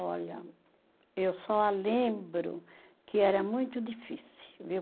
Olha, eu só lembro que era muito difícil, viu?